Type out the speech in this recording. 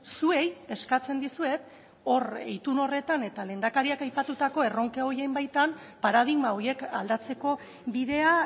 zuei eskatzen dizuet hor itun horretan eta lehendakariak aipatutako erronka horien baitan paradigma horiek aldatzeko bidea